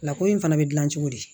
Lako in fana bɛ dilan cogo di